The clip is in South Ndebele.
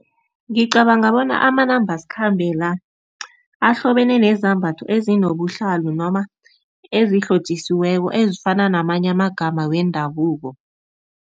Ngicabanga bona amanambaskhambe la ahlobene nezambatho ezinobuhlalo noma ezihlotjisiweko ezifana namanye amagama wendabuko.